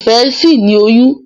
Ìfẹ sí ní oyún.